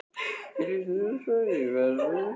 Mín lífstíð er á fleygiferð, ég flýti mér til grafar.